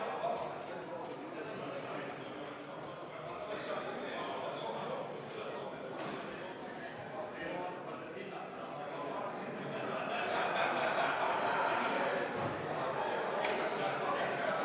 Seoses sellega mul on palve, et me need loosungid, mis täna siin laudadel on, paneksime ilusti ära sahtlitesse ja juhinduksime tulevikus kõik sellest juhatuse konsensuslikust otsusest.